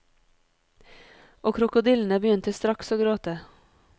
Og krokodillene begynte straks å gråte.